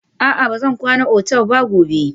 A'a, ba zan kwana otal ba gobe.